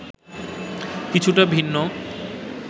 কিছুটা ভিন্ন